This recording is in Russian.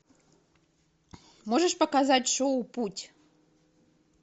можешь показать шоу путь